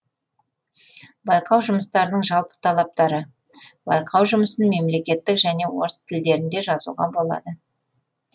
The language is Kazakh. байқау жұмыстарының жалпы талаптары байқау жұмысын мемлекеттік және орыс тілдерінде жазуға болады